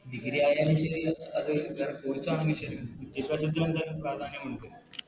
Degree ആയാലും ശരി അത് വേറെ Course ആണെങ്കും ശരി വിദ്യഭ്യാസത്തിനെന്തായാലും പ്രാധ്യാന്യമുണ്ട്